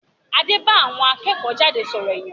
Adé bá àwọn akẹ́kọ̀-jáde sọ̀rọ̀ ìyànjú